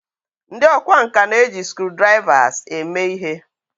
ndi okwá nkà na-eji screwdrivers eme ihe